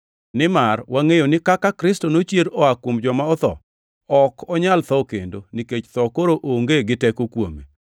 Nimar wangʼeyo ni kaka Kristo nochier oa kuom joma otho, ok onyal tho kendo, nikech tho koro onge gi teko kuome.